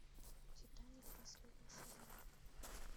титаник последний сезон